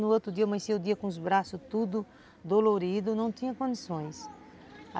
No outro dia amanhecia o dia com os braços todos doloridos, não tinha condições.